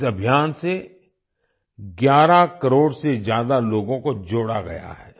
इस अभियान से 11 करोड़ से ज्यादा लोगों को जोड़ा गया है